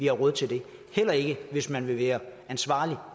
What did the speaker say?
er råd til det heller ikke hvis man vil være ansvarlig